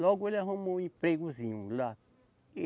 Logo ele arrumou um empregozinho lá.